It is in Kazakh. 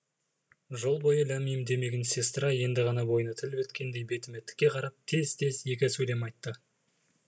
жол бойы ләм мим демеген сестра енді ғана бойына тіл біткендей бетіме тіке қарап тез тез екі сөйлем айтты